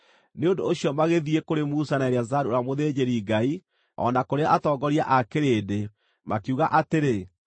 Nĩ ũndũ ũcio magĩthiĩ kũrĩ Musa na Eleazaru ũrĩa mũthĩnjĩri-Ngai, o na kũrĩ atongoria a kĩrĩndĩ, makiuga atĩrĩ,